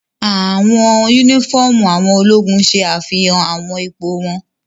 Awọn unifọmú awọn ologun ṣe afihan awọn ipo wọn